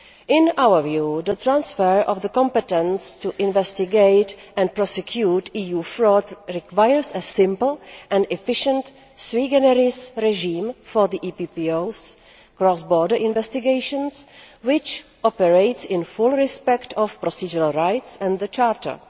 In our view, the transfer of the competence to investigate and prosecute EU fraud requires a simple and efficient sui generis regime for the EPPO's cross border investigations which operates in full respect of procedural rights and the Charter.